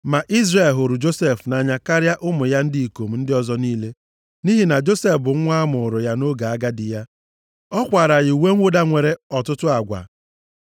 Ma Izrel hụrụ Josef nʼanya karịa ụmụ ya ndị ikom ndị ọzọ niile nʼihi na Josef bụ nwa a mụụrụ ya nʼoge agadi ya. Ọ kwaara ya uwe mwụda nwere ọtụtụ agwa.